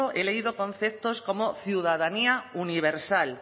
he leído conceptos como ciudadanía universal